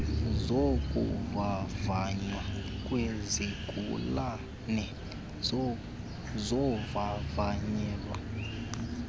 zokuvavanywa kwezigulane zivavanyelwa